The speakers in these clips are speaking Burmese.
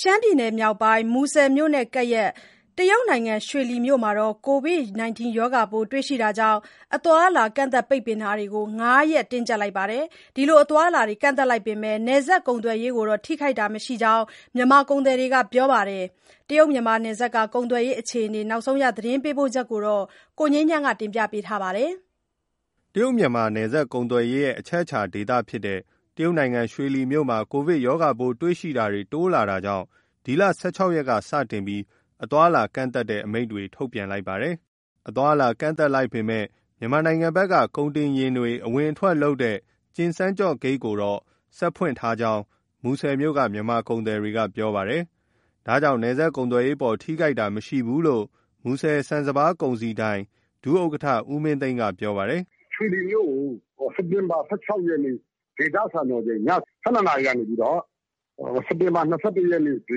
ရှမ်းပြည်နယ်မြောက်ပိုင်း မူဆယ်မြို့နဲ့ကပ်လျက် တရုတ်နိုင်ငံ ရွှေလီမြို့မှာ ကိုဗစ်ရောဂါပိုးတွေ့ရှိတာကြောင့် အသွားအလာကန့်သတ် ပိတ်ပင်တာတွေ ၅ ရက် တင်းကျပ်ထားပါတယ်။ ဒီလို အသွားအလာ ကန့်သတ်လိုက်ပေမယ့် နယ်စပ်ကုန်သွယ်ရေးကိုတော့ မထိခိုက်ကြောင်း မြန်မာကုန်သည်တွေက ပြောပါတယ်။ တရုတ်မြန်မာနယ်စပ် ကုန်သွယ်ရေးအခြေအနေ ရန်ကုန်ကလာတဲ့သတင်းပေးပို့ချက်ကို ကိုငြိမ်းချမ်းက တင်ပြပေးထားပါတယ်။ တရုတ်မြန်မာ နယ်စပ်ကုန်သွယ်ရေးရဲ့အချက်အခြာ တရုတ်နိုင်ငံ ရွှေလီမြို့မှာ ကိုဗစ်ရောဂါပိုးရှိသူတွေ တိုးလာတာကြောင့် ဒီလ ၁၆ ရက်နေ့က စတင်ပြီး အသွားအလာကန့်သတ်မိန့်တွေ ထုတ်ပြန်ထားတာပါ။ အသွားအလာကန့်သတ်လိုက်ပေမယ့် မြန်မာနိုင်ငံဘက်က ကုန်တင်ယာဉ်တွေ အဝင်အထွက်လုပ်တဲ့ ကျင်စန်းကျော့ဂိတ်ကိုတော့ ဆက်လက် ဖွင့်လှစ်ထားကြောင်း မူဆယ်မြို့က မြန်မာကုန်သည်တွေက ပြောပါတယ်။ ဒါကြောင့် နယ်စပ်ကုန်သွယ်ရေးအပေါ် ထိခိုက်တာမရှိဘူးလို့ မူဆယ် ဆန်စပါးကုန်စည်ဒိုင် ဒုတိယဥက္ကဋ္ဌ ဦးမင်းသိန်းက ပြောပါတယ်။ “ ရွှေလီမြို့ကို စက်တင်ဘာ ၁၆ ရက်နေ့ ဒေသစံတော်ချိန် ည ၁၂ နာရီကနေပြီးတော့ စက်တင်ဘာ ၂၁ ရက်နေ့ ဒေ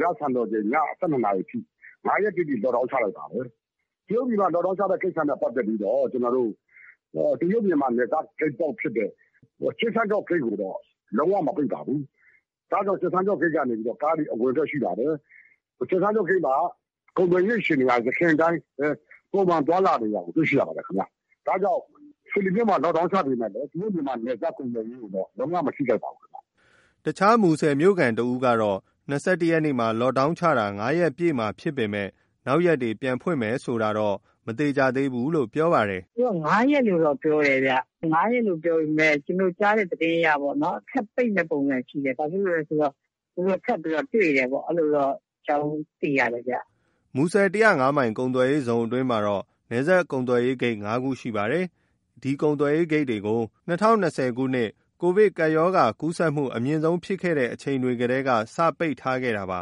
သစံတော်ချိန် ည ၁၂ နာရီအထိ ၅ ရက်တိတိ Lockdown ချလိုက်ပါတယ်။ တရုတ်ပြည်မှာ Lockdown ချတဲ့ ကိစ္စနဲ့ပတ်သက်ပြီးတော့ တရုတ်မြန်မာနယ်စပ်ဂိတ်ပေါက်ဖြစ်တဲ့ ကျင်စန်းကျော့ ဂိတ် ကိုတော့ လုံးဝ မပိတ်ပါဘူး။ ဒါကြောင့် ကျင်စန်းကျော့ဂိတ်ကနေပြီးတော့ ကားတွေ အဝင်အထွက်ရှိပါတယ်။ ကျင်စန်းကျော့ဂိတ်မှာ ကုန်သွယ်ရေးအခြေအနေက ယခင်အတိုင်း ပုံမှန် သွားလာနေတာကို တွေ့ရှိရပါတယ်။ ဒါကြောင့် ရွှေလီမြို့မှာ Lockdown ချပေမယ့်လည်း တရုတ်မြန်မာနယ်စပ်ကုန်သွယ်ရေးကိုတော့ လုံးဝ မထိခိုက်ပါဘူး။” အခြား မူဆယ်မြို့ခံတဦးကတော့ ၂၁ ရက်နေ့မှာ Lockdown ချတာ ၅ ရက် ပြည့်မှာဖြစ်ပေမယ့် နောက်ရက်တွေ ပြန်ဖွင့်မယ်ဆိုတာတော့ မသေချာသေးဘူးလို့ ပြောပါတယ်။ “ သူတို့က ၅ ရက်လို့တော့ ပြောတယ်။ ၅ ရက်လို့ ပြောပေမယ့် ကျနော်တို့ ကြားတဲ့သတင်းအရပေါ့နော်၊ ထပ်ပိတ်မယ့် ပုံစံရှိတယ်။ ဘာဖြစ်လို့လဲဆိုတော့ သူတို့ ထပ်ပြီးတော့ တွေ့တယ်ပေါ့။ အဲလိုတော့ အကြောင်း သိရတယ်ဗျ။” မူဆယ် ၁၀၅ မိုင် ကုန်သွယ်ရေးဇုန်အတွင်း နယ်စပ်ကုန်သွယ်ရေးဂိတ် ၅ ခုရှိပါတယ်။ ဒီကုန်သွယ်ရေး ဂိတ်တွေကို ၂၀၂၀ ခုနှစ် ကိုဗစ်ရောဂါကူးစက်မှု အမြင့်ဆုံး ဖြစ်ခဲ့တဲ့အချိန်တွေကတည်းက စတင် ပိတ်ထားခဲ့တာပါ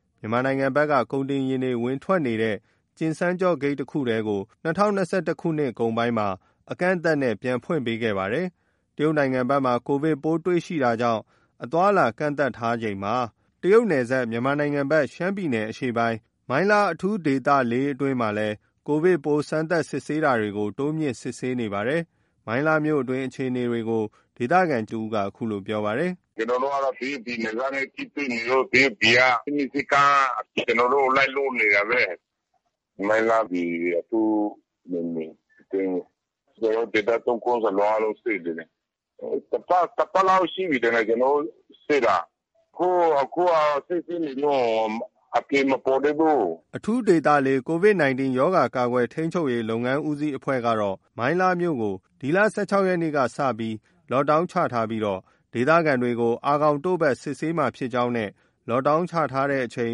။ မြန်မာနိုင်ငံဘက်က ကုန်တင်ယာဉ်တွေ ဝင်ထွက်နေတဲ့ ကျင်စန်းကျော့ဂိတ်တခုတည်းကို ၂၀၂၁ ခုနှစ်ကုန်ပိုင်းမှာ အကန့်အသတ်နဲ့ ပြန်လည်ဖွင့်ပေးခဲ့ပါတယ်။ တရုတ်နိုင်ငံဘက်မှာ ကိုဗစ်ပိုးတွေ့ရှိတာကြောင့် အသွားအလာ ကန့်သတ်ထားချိန်မှာ တရုတ် နယ်စပ်၊ မြန်မာနိုင်ငံဘက် ရှမ်းပြည်နယ်အရှေ့ပိုင်း မိုင်းလားအထူးဒေသ ၄ အတွင်းမှာလည်း ကိုဗစ်ပိုးစမ်းသပ်စစ်ဆေးတာတွေကို တိုးမြှင့် စစ်ဆေးနေပါတယ်။ မိုင်းလားမြို့တွင်း အခြေအနေကို ဒေသခံတဦးက အခုလို ပြောပါတယ်။ “ကျနော်တို့က တရုတ်ပြည်နယ်စပ်နဲ့ ထိတွေ့နေလို့ တရုတ်ပြည်က စည်းမျဉ်းစည်းကမ်း ကျနော်တို့ လိုက်လုပ်နေတာပဲ။ မိုင်းလားဒီ အထူးနယ်မြေအတွင်း။ ကျနော်တို့ ဒေသ ၃ ခုစလုံး အားလုံး စစ်နေတယ်။ တပတ်လောက်ရှိပြီထင်တယ် ကျနော်တို့ စစ်တာ။ အခုက စစ်ဆေးနေတုံး အဖြေမပေါ်သေးဘူး။ ” အထူးဒေသ ၄၊ ကိုဗစ် 19 ရောဂါကာကွယ်ထိန်းချုပ်ရေး လုပ်ငန်းဦးစီးအဖွဲ့ကတော့ မိုင်းလားမြို့ကို ဒီလ ၁၆ ရက်နေ့ကနေ Lockdown ချပြီး ဒေသခံတွေကို အာခေါင်တို့ဖတ် စစ်ဆေးမှာဖြစ်ကြောင်းနဲ့ Lockdown ချထားတဲ့အချိန်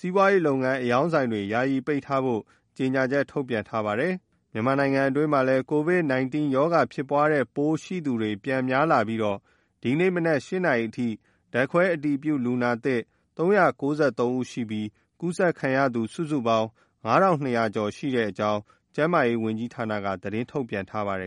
စီးပွားရေးလုပ်ငန်းအရောင်းဆိုင်တွေ ယာယီပိတ်ထားဖို့ ကြေညာချက် ထုတ်ပြန်ထားပါတယ်။ မြန်မာနိုင်ငံအတွင်းမှာလည်း ကိုဗစ် ၁၉ ရောဂါဖြစ်ပွားတဲ့ ပိုးတွေ့ရှိသူတွေ ပြန်များလာပြီး ဒီနေ့မနက် ၈ နာရီအထိ ဓါတ်ခွဲအတည်ပြု လူနာသစ် ၃၉၃ ဦးရှိပြီး ကူးစက်ခံရသူ စုစုပေါင်း ၅,၂၀၀ ကျော်ရှိကြောင်း ကျန်းမာရေးဝန်ကြီးဌာနက သတင်းထုတ်ပြန်ထားပါတယ်